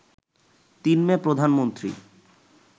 ৩ মে, প্রধানমন্ত্রী